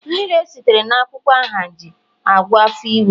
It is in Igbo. mmiri esitere na akwukwo ahunji -agwọ afo iwe